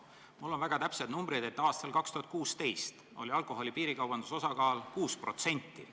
Mul on väga täpsed andmed, et aastal 2016 oli alkoholi piirikaubanduse osakaal 6%.